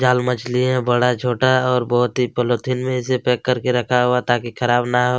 जाल मछली है बड़ा छोटा और बहुत ही पॉलिथीन में इस पैक करके रखा हुआ ताकि खराब ना हो --